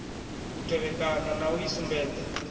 u tevhekana na u isumbedza